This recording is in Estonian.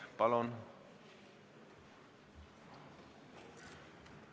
Palun!